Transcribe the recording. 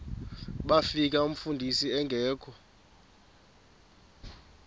bafika umfundisi engekho